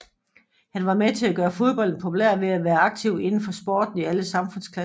Han var med til at gøre fodbolden populær ved at være aktiv inden for sporten i alle samfundsklasser